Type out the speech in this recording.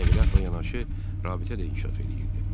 Nəqliyyatla yanaşı rabitə də inkişaf edirdi.